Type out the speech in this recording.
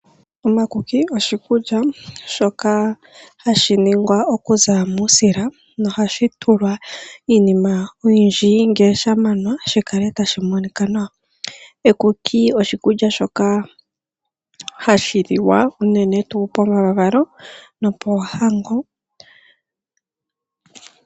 Omakuki, oshikulya shoka hashi ningwa okuza muusila na ohashi tulwa iinima oyindji ngele sha manwa shi kale tashi monika nawa. Ekuki oshikulya shoka hashi li wa unene tuu pomavalo no poohango.